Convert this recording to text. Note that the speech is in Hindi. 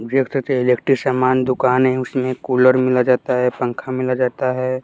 इलेक्ट्रिक सामान दुकान है उसमें कुलर मिला जाता है पंख मिला जाता है।